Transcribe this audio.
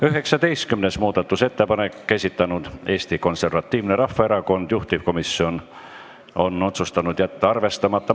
19. muudatusettepaneku on esitanud Eesti Konservatiivne Rahvaerakond, juhtivkomisjon on otsustanud jätta arvestamata.